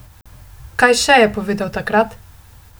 Kaj še je povedal takrat?